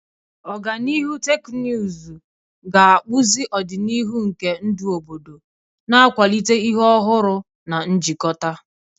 Ọganihu teknụzụ ga-akpụzi ọdịnihu nke ndụ obodo, na-akwalite ihe ọhụrụ na njikọta.